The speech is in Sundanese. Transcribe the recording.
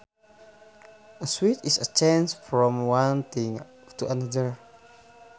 A switch is a change from one thing to another